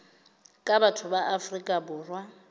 ka batho ba afrika borwa